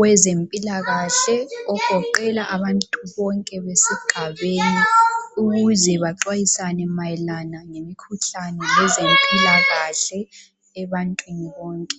wezempilakahle ogoqela abantu bonke besigabeni ukuze baxwayisane mayelana ngemikhuhlane lezempilakahle ebantwini bonke.